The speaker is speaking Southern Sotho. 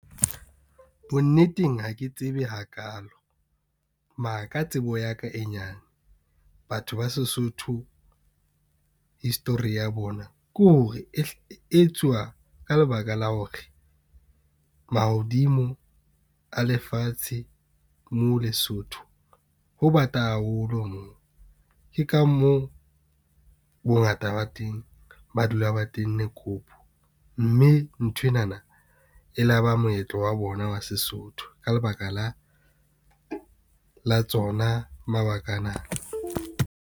Bonneteng, ha ke tsebe hakaalo, mara ka tsebo ya ka e nyane. Batho ba Sesotho, history ya bona ke hore etsuwa ka lebaka la hore mahodimo a lefatshe moo Lesotho ho bata haholo. Moo ke ka moo bongata ba teng ba dula ba tenne kobo, mme nthwenana e laba moetlo wa bona wa Sesotho ka lebaka la tsona mabaka ana.